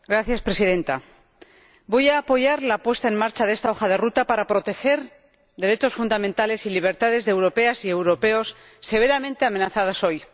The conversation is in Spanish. Señora Presidenta, voy a apoyar la puesta en marcha de esta hoja de ruta para proteger derechos fundamentales y libertades de europeas y europeos gravemente amenazados hoy.